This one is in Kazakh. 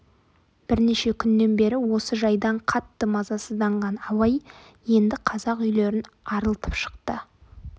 бірнеше күннен бері осы жайдан қатты мазасызданған абай енді қазақ үйлерін арылтып шықты